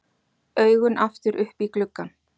Augun aftur upp í gluggann.